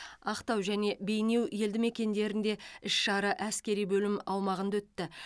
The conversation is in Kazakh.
ақтау және бейнеу елдімекендерінде іс шара әскери бөлім аумағында өтті